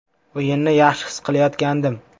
O‘yinni yaxshi his qilayotgandim.